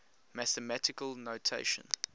mathematical notation